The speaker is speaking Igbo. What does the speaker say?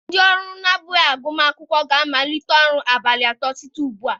Ndị ọrụ na-abụghị agụmakwụkwọ ga-amalite ọrụ ụbọchị atọ na-abịa site ugbu a.